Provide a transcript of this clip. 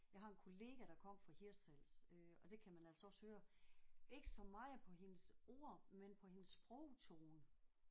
Jeg har en kollega der kommer fra Hirtshals øh og det kan man altså også høre. Ikke så meget på hendes ord men på hendes sprogtone